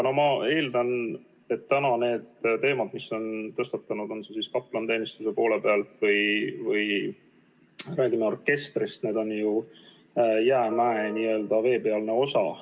Ma eeldan, et need teemad, mis on tõstatatud, on see siis kaplaniteenistus või räägime orkestrist, on ju jäämäe veepealne osa.